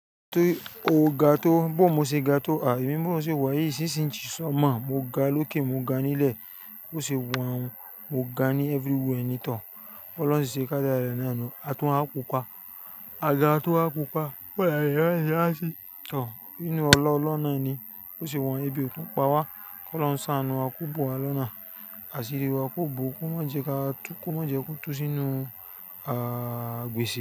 Bo ni o ga tó, bó mo ṣe ga tó, ha èmi bí mo ṣe wá yí, sis inche ni mọ́ mo, mo ga lókè, mo ga nílẹ̀, ó ṣe wọ́n nu, mo ga ní everywhere ni toor, bí ọlọ́run ṣì ṣe ká dára rẹ̀ na nu. Àtún waà pupa, a ga a tún wa pupa, bó la ṣe fẹ́ ṣe wá sí, tọ̀, inú ọla olohun nani, ó ṣe wa ebi òtun pa wá, kí ọlọ́run ṣá anú wa kobùn wa lọ́nà, àṣírí wa kò bò ó, kí wọ́n jẹ ka tú kò má jẹ kó tú sínú, ah, gbèsè.